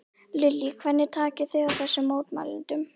Lillý: Hvernig takið þið á þessum mótmælendum?